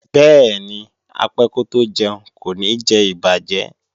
Bẹ́ẹ̀ni, apẹ́ kótó jẹun kò ní jẹ ìbàjẹ́